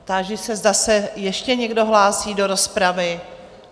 Táži se, zda se ještě někdo hlásí do rozpravy?